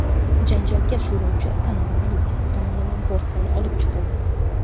Janjalkash yo‘lovchi Kanada politsiyasi tomonidan bortdan olib chiqildi.